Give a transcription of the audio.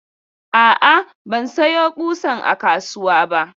A'a, ban sayo ƙusan a kasuwa ba.